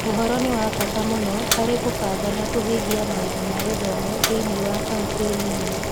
Ũhoro nĩ wa bata mũno harĩ kũbanga na kũhingia maũndũ ma gĩthomo thĩinĩ wa kaunti nini.